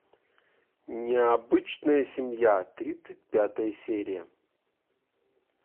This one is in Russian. необычная семья тридцать пятая серия